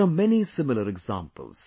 There are many similar examples